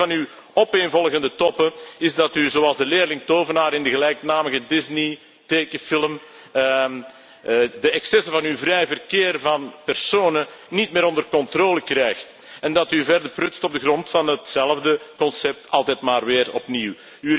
Het probleem van uw opeenvolgende toppen, is dat u, zoals de tovenaarsleerling in de gelijknamige Disney tekenfilm, de excessen van een vrij verkeer van personen niet meer onder controle krijgt en dat u verder prutst op de grond van hetzelfde concept, altijd maar weer opnieuw.